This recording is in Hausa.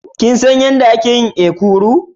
Kin san yadda ake yin ekuru?